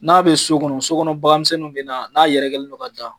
N'a be so kɔnɔ, sokɔnɔ bakanmisɛnninw bɛ na n'a yɛrɛkɛlen don ka ja.